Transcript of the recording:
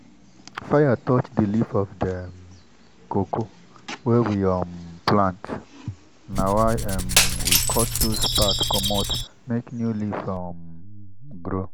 fire touch the leaf of the cocoa wey we um plant na why um we cut those part commot make new leaf um grow.